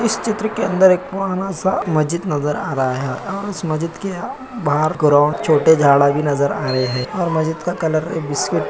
इस चित्र के अन्दर एक पुराना सा मज्जिद नज़र आ रहा है। अ उस मज्जिद के बाहर ग्रोंड छोटे झाड़ा भी नज़र आ रहे हैं और मज्जिद का कलर एक बिस्कीट --